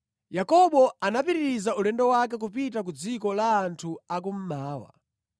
Yakobo anapitiriza ulendo wake kupita ku dziko la anthu a kummawa.